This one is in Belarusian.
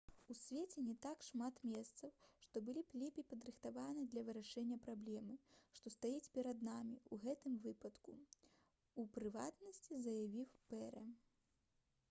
«у свеце не так шмат месцаў што былі б лепей падрыхтаваны для вырашэння праблемы што стаіць перад намі ў гэтым выпадку» — у прыватнасці заявіў пэры